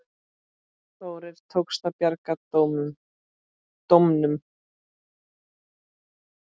Þórir: Tókst að bjarga dómunum?